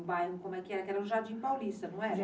O bairro como é que era, era o Jardim Paulista, não era?